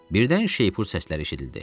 Birdən şeypur səsləri eşidildi.